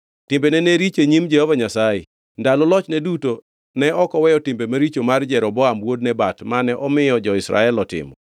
Timbene ne richo e nyim Jehova Nyasaye. Ndalo lochne duto ne ok oweyo timbe maricho mar Jeroboam wuod Nebat, mane omiyo jo-Israel otimo.